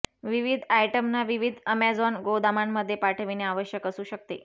विविध आयटमना विविध ऍमेझॉन गोदामांमध्ये पाठविणे आवश्यक असू शकते